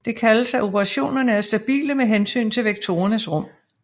Det kaldes at operationerne er stabile med hensyn til vektorernes rum